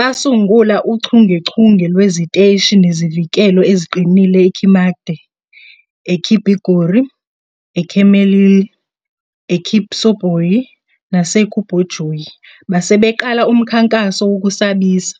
Basungula uchungechunge lweziteshi ezinezivikelo eziqinile eKimatke, eKibigori, eChemelil, eKipsoboi, naseKobujoi, base beqala umkhankaso wokusabisa.